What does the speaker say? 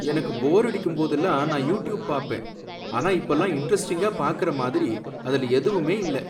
எனக்கு போரடிக்கும் போதெல்லாம் நான் யூடியூப் பாப்பேன். ஆனா இப்பல்லாம் இன்ட்ரஸ்டிங்கா பாக்கற மாதிரி அதுல எதுவுமே இல்ல.